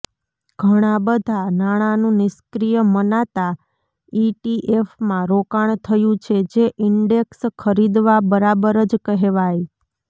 ઘણાં બધાં નાણાનું નિષ્ક્રિય મનાતા ઇટીએફમાં રોકાણ થયું છે જે ઇન્ડેક્સ ખરીદવા બરાબર જ કહેવાય